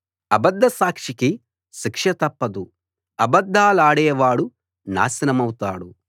అబద్ద సాక్షికి శిక్ష తప్పదు అబద్ధాలాడేవాడు నాశనమౌతాడు